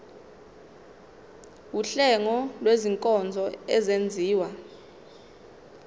wuhlengo lwezinkonzo ezenziwa